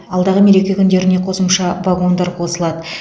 алдағы мереке күндеріне қосымша вагондар қосылады